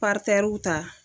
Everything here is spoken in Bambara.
Paritɛruw ta